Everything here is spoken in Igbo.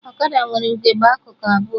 Ọkada nwere ugegbe akụkụ abụọ